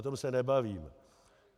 O tom se nebavíme.